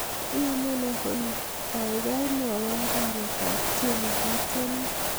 iyomunee olly kaigai mwowon kainet ab tieni gitieni